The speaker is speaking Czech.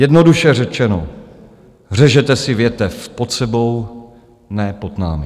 Jednoduše řečeno, řežete si větev pod sebou, ne pod námi.